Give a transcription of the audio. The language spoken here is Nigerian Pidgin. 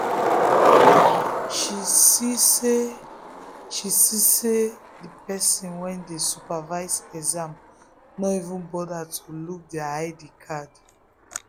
she see say she see say the person wey dey supervise exam no even bother to look their id cards.